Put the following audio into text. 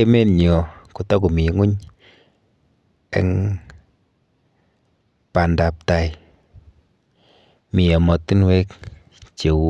emet nyo kotokomi ng'weny eng bandaptai mi ematunwek cheu